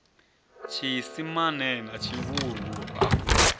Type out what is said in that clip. tshiisimane na tshivhuru a hu